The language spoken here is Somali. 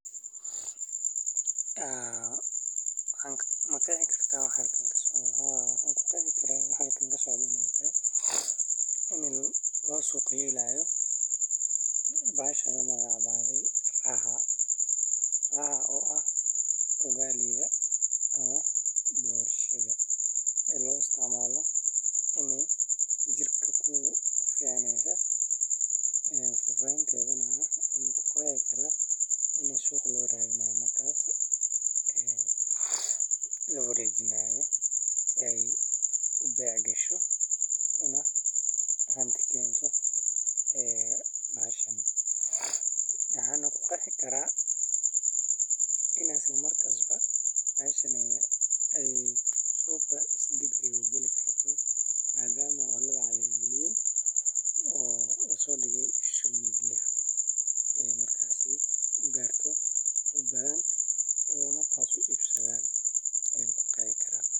Haa wan qexi karaa waxa halkan kasocda, ini lasuq geynayo boshadan Raha Suqgeynta booshada waa habka lagu qurxiyo ama lagu xayaysiiyo booshada si loo kasbado dareenka macaamiisha ama loo kordhiyo iibkeeda. Boosho waa cunto macaan oo laga sameeyo bur, sonkor, ukun, subag, iyo caano; waxaana lagu dubaa foornada ama digsi. Marka la suqgeynayo booshada, waxaa la isticmaalaa farsamooyin kala duwan sida xayeysiin muuqaal leh, qurxin booshada leh daasad sonkor ah, malab, ama shukulaato dusha looga shubo, iyo in lagu iibiyo meel nadiif ah oo soo jiidasho leh.